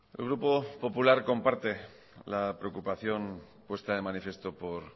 el grupo popular comparte la preocupación puesta de manifiesto por